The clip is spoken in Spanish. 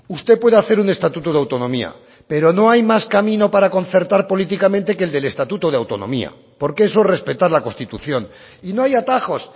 usted puede hacer un estatuto de autonomía pero no hay más camino para concertar políticamente que el del estatuto de autonomía porque eso es respetar la constitución y no hay atajos